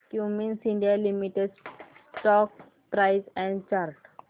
Cummins India limited stock price and chart